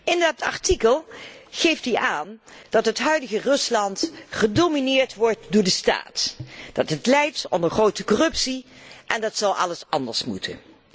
In dat artikel geeft hij aan dat het huidige Rusland gedomineerd wordt door de staat, dat het lijdt onder grote corruptie en dat alles anders zou moeten.